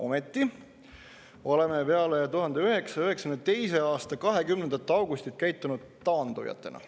Ometi oleme peale 1992. aasta 20. augustit käitunud taandujatena.